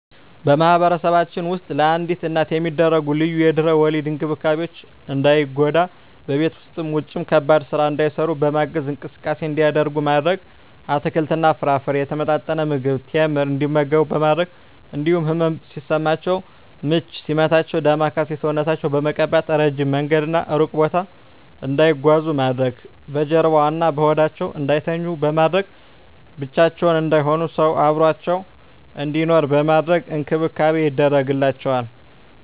በማህበረሰባችን ውስጥ ለአዲስ እናት የሚደረጉ ልዩ የድህረ ወሊድ እንክብካቤዎች እንዳይጎዱ በቤት ውስጥም ውጭም ከባድ ስራ እንዳይሰሩ በማገዝ፣ እንቅስቃሴ እንዲያደርጉ ማድረግ፣ አትክልትና ፍራፍሬ፣ የተመጣጠነ ምግብ፣ ቴምር እንዲመገቡ በማድረግ እንዲሁም ህመም ሲሰማቸው ምች ሲመታቸው ዳማከሴ ሰውነታቸውን በመቀባት፣ እረጅም መንገድና እሩቅ ቦታ እንዳይጓዙ ማድረግ፣ በጀርባዋ እና በሆዳቸው እንዳይተኙ በማድረግ፣ ብቻቸውን እንዳይሆኑ ሰው አብሮአቸው እንዲኖር በማድረግ እንክብካቤ ይደረግላቸዋል።